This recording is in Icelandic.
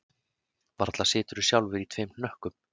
Varla siturðu sjálfur í tveim hnökkum